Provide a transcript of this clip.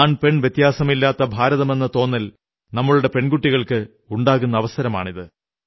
ആൺപെൺ വ്യത്യാസമില്ലാത്ത ഭാരതമെന്ന തോന്നൽ നമ്മുടെ പെൺകുട്ടികൾക്ക് ഉണ്ടാകുന്ന അവസരമാണിത്